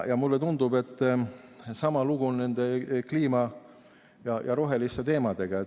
Mulle tundub, et sama lugu on nende kliima‑ ja roheliste teemadega.